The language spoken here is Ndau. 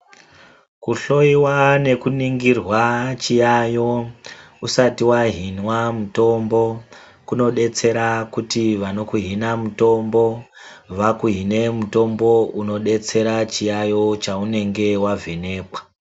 Kuhloyiwa nekuringirwa chiyaiyo usati wahinwa mutombo kunodetsera kuti vanokuhina mutombo vakuhine mutombo unodetsera chiyaiyo chaunenge wavhenekwa.